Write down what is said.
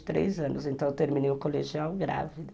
três anos. Então eu terminei o colegial grávida.